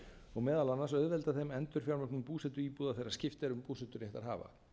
og meðal annars auðvelda þeim endurfjármögnun búsetuíbúða þegar skipt er um búseturéttarhafa